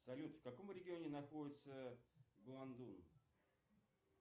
салют в каком регионе находится гуандун